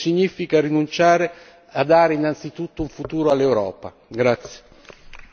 Rinunciare a questo significa rinunciare a dare, innanzitutto, un futuro all'Europa.